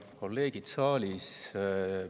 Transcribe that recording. Kolleegid saalis!